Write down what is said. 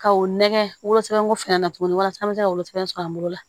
Ka o nɛgɛ wolosɛbɛn ko finɛ na tuguni walasa an bɛ se ka wolosɛbɛn sɔrɔ an bolo la